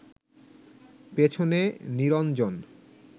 পেছনে নিরঞ্জন